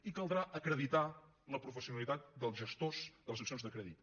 i caldrà acreditar la professionalitat dels gestors de les seccions de crèdit